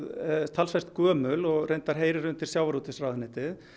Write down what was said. talsvert gömul og heyrir undir sjávarútvegsráðuneytið